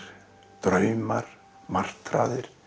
draumar martraðir